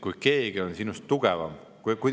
Kui keegi on sinust tugevam …